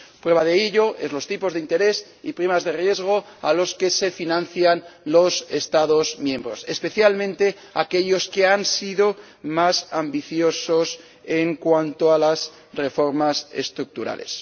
Prueba de ello son los tipos de interés y primas de riesgo a los que se financian los Estados miembros, especialmente aquellos que han sido más ambiciosos en cuanto a las reformas estructurales.